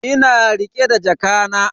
Ina rike da jakana.